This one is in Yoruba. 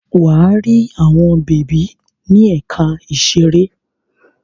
Wà á rí àwọn bèbí ní ẹ̀ka ìṣeré.